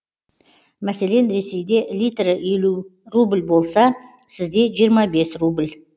мәселен ресейде литрі елу рубль болса сізде жиырма бес рубль